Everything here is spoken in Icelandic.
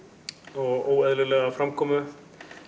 og óeðlilega framkomu